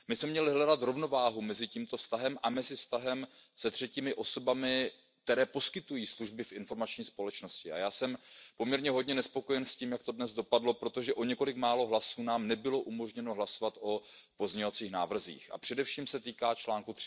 My bychom měli hledat rovnováhu mezi tímto vztahem a mezi vztahem se třetími osobami, které poskytují služby v informační společnosti. A já jsem poměrně hodně nespokojen s tím, jak to dnes dopadlo, protože o několik málo hlasů nám nebylo umožněno hlasovat o pozměňovacích návrzích, a především se to týká článku